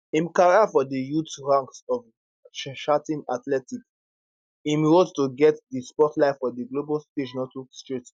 im career from di youth ranks of charlton athletic im road to get di spotlight for di global stage no too straight